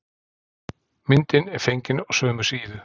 Myndin er fengin á sömu síðu.